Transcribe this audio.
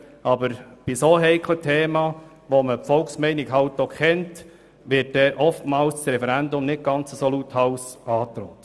Bei dermassen heiklen Themen, zu welchen die Volksmeinung bekannt ist, wird oftmals das Referendum nicht ganz so lauthals angedroht.